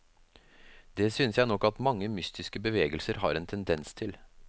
Det synes jeg nok at mange mystiske bevegelser har en tendens til.